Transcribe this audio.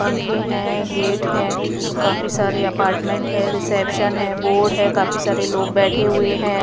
पंखे हैं गेट हैं काफी सारे अपार्टमेंट है रिसेप्शन है बोर्ड है काफी सारे लोग बैठे हुए हैं।